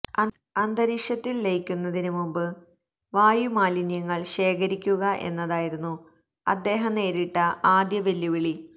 അന്തരീക്ഷത്തില് ലയിക്കുന്നതിന് മുമ്പ് വായുമലിന്യങ്ങള് ശേഖരിക്കുക എന്നതായിരുന്നു അദ്ദേഹം നേരിട്ട ആദ്യ വെല്ലുവളി